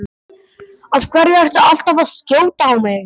Af hverju ertu alltaf að skjóta á mig?